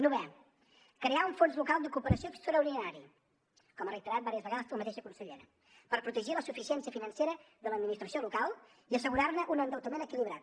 novè crear un fons local de cooperació extraordinari com ha reiterat diverses vegades la mateixa consellera per protegir la suficiència financera de l’administració local i assegurar ne un endeutament equilibrat